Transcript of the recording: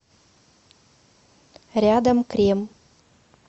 рядом крем